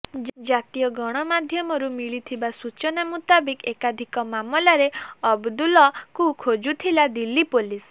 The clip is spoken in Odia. ଜାତୀୟ ଗଣମାଧ୍ୟମରୁ ମିଳିଥିବା ସୂଚନା ମୁତାବକ ଏକାଧିକ ମାମଲାରେ ଅବଦୁଲକୁ ଖୋଜୁଥିଲା ଦିଲ୍ଲୀ ପୋଲିସ